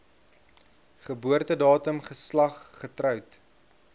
geboortedatum geslag getroud